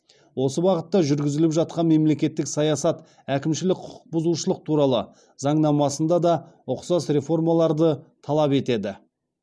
осы бағытта жүргізіліп жатқан мемлекеттік саясат әкімшілік құқық бұзушылық туралы заңнамасында да ұқсас реформаларды талап етеді